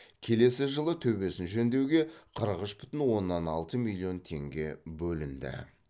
келесі жылы төбесін жөндеуге қырық үш бүтін оннан алты миллион теңге бөлінді